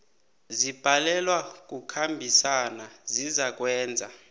zibhalelwa kukhambisana zizakwenza